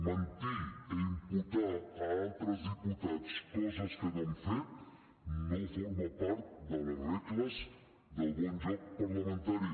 mentir i imputar a altres diputats coses que no han fet no forma part de les regles del bon joc parlamentari